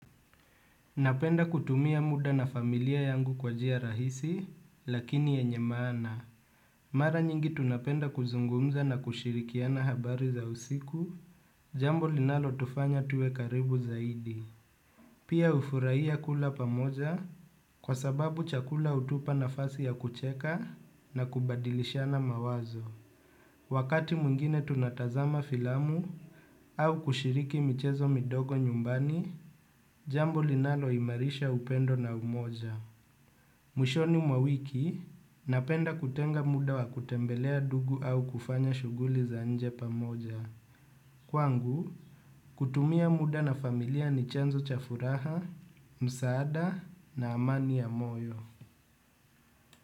Napenda kutumia muda na familia yangu kwa njia rahisi, lakini yenye maana. Mara nyingi tunapenda kuzungumza na kushirikiana habari za usiku, jambo linalotufanya tuwe karibu zaidi. Pia hufuraia kula pamoja kwa sababu chakula hutupa nafasi ya kucheka na kubadilishana mawazo. Wakati mwingine tunatazama filamu au kushiriki michezo midogo nyumbani, jambo linaloimarisha upendo na umoja. Mwishoni mwawiki, napenda kutenga muda wa kutembelea dugu au kufanya shughuli za nje pamoja. Kwangu, kutumia muda na familia ni chanzo cha furaha, msaada na amani ya moyo.